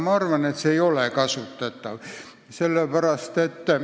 Ma arvan, et see ei ole kasutatav.